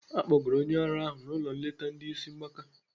Akpọgara onye ara ahụ n'ụlọ nleta ndị isi mgbaka.